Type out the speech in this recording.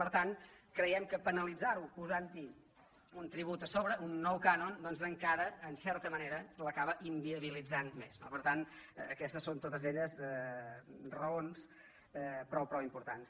per tant creiem que penalitzar·ho posant·hi un tribut a sobre un nou cànon doncs encara en certa manera l’acaba inviabilitzant més no per tant aquestes són totes elles raons prou importants